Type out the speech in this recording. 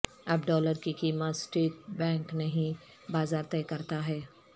اب ڈالر کی قیمت سٹیٹ بینک نہیں بازار طےکرتا ہے